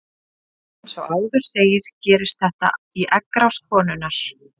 Eins og áður segir gerist þetta í eggrás konunnar.